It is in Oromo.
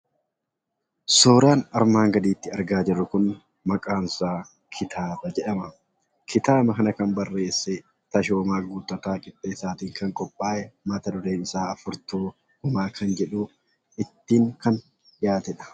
Suuraan armaan gaditti argaa jirru kun maqaansaa kitaaba jedhama. Kitaaba kana kan barreesse Tashoomaa Guuttataatiin kan barraaye yoo ta'u, mat-dureen isaa "Furtuu Gumaa" kan jedhudha.